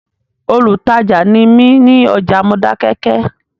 Olùtajà ni mí ní ọjà Modákẹ́kẹ́